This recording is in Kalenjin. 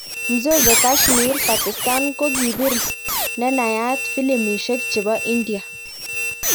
Mzozo kashmir, Pakistan kokipir ne nayaat filimbishek chepo India